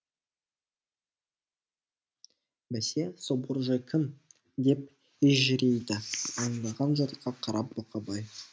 бәсе сол боржой кім деп ежірейді аңдаған жұртқа қарап бұқабай